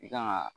I kan ka